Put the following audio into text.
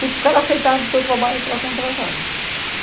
Se o cara aceitar o seu trabalho, você esta contratada